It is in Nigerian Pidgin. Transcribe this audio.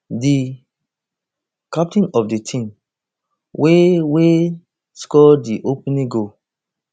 di captain of di team wey wey score di opening goal